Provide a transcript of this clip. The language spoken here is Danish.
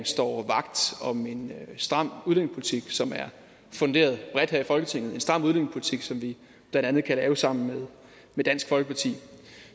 står vagt om en stram udlændingepolitik som er funderet bredt her i folketinget en stram udlændingepolitik som vi blandt andet kan lave sammen med dansk folkeparti